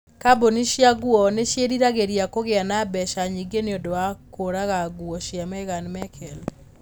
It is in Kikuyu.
Kambuni cia nguo nĩ ciĩriragĩria kũgĩa na mbeca nyingĩ nĩ ũndũ wa kũruga nguo cia Meghan Merkle